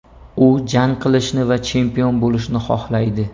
U jang qilishni va chempion bo‘lishni xohlaydi.